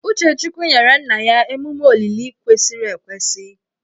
Uchechukwu nyere nna ya emume olili kwesịrị ekwesị